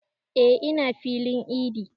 E ina filin idi